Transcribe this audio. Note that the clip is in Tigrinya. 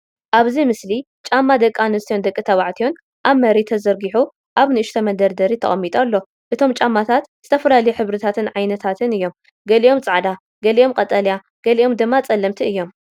ኣብዚ ምስሊ ጫማ ደቂ ኣንስትዮን ደቂ ተባዕትዮን ኣብ መሬት ተዘርጊሑ ኣብ ንእሽቶ መደርደሪ ተቐሚጡ ኣሎ። እቶም ጫማታት ዝተፈላለዩ ሕብርታትን ዓይነታትን እዮም፤ ገሊኦም ጻዕዳ፡ ገሊኦም ቀጠልያ፡ ገሊኦም ድማ ጸለምቲ እዮም።